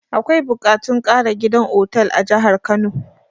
Akwai buƙatun ƙara gida otal a jahar kano